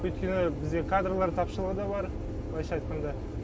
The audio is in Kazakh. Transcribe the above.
өйткені бізде кадрлар тапшылығы да бар былайша айтқанда